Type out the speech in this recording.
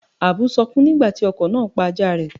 Àbú sọkún nígbà tí ọkọ̀ náà pa ajáa rẹ̀.